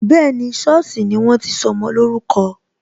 Bẹẹni, sọ́ọ̀sì ni wọ́n ti sọmọ lórúkọ